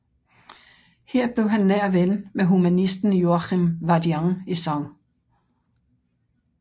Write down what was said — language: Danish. Her blev han nær ven med humanisten Joachim Vadian i St